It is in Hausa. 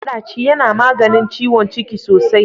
Maɗaci yana maganin ciwon ciki sosai.